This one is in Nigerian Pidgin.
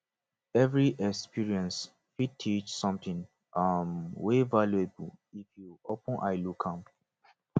evri experience fit teach somtin um wey valuable if yu open eye look am